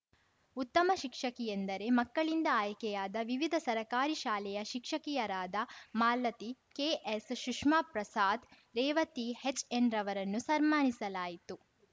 ಉತ್ತಮ ಶಿಕ್ಷಕಿಯೆಂದರೆ ಮಕ್ಕಳಿಂದ ಆಯ್ಕೆಯಾದ ವಿವಿಧ ಸರಕಾರಿ ಶಾಲೆಯ ಶಿಕ್ಷಕಿಯರಾದ ಮಾಲತಿ ಕೆಎಸ್‌ ಸುಷ್ಮಾ ಪ್ರಸಾದ್‌ ರೇವತಿ ಹೆಚ್‌ಎನ್‌ರನ್ನು ಸನ್ಮಾನಿಸಲಾಯಿತು